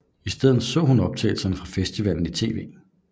I stedet så hun optagelser fra festivallen i tv